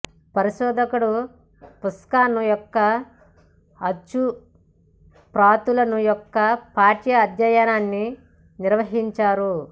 పరిశోధకుడు పుష్కిన్ యొక్క అచ్చు ప్రతులను యొక్క పాఠ్య అధ్యయనాన్ని నిర్వహించారు